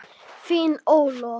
Þín, Ólöf.